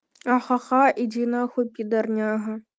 ха-ха иди нахуй подорняга